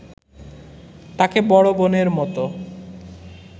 তাকে বড় বোনের মতো